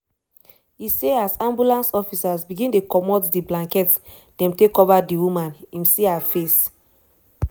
e say as ambulance officers begin dey comot di blankets dem take cover di woman im see her face.